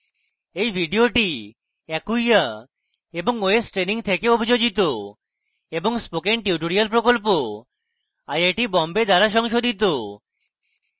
এই video acquia এবং ostraining থেকে অভিযোজিত এবং spoken tutorial প্রকল্প আইআইটি বোম্বে দ্বারা সংশোধিত